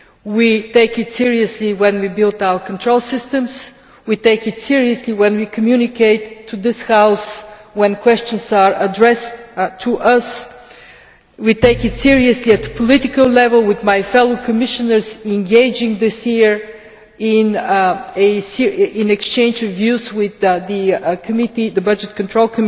We take it seriously when we build our control systems, we take it seriously when we communicate to this House when questions are addressed to us, we take it seriously at political level, with my fellow Commissioners engaging this year in an exchange of views with the Committee on Budgetary Control